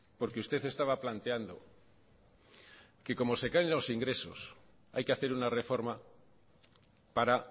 porque usted estaba planteando que como se caen los ingresos hay que hacer una reforma para